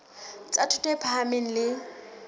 tsa thuto e phahameng le